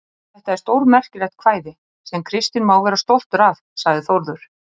Þetta er stórmerkilegt kvæði, sem Kristinn má vera stoltur af, sagði Þórður.